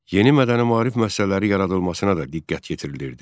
Yeni mədəni maarif müəssisələri yaradılmasına da diqqət yetirilirdi.